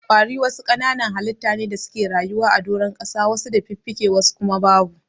Ƙwari wasu kananan halitta ne da suke rayuwa a doron ƙasa wasu da fiffike wasu kuma babu.